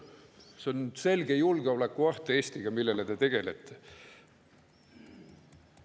See on selge julgeolekuoht Eestile, millega te tegelete.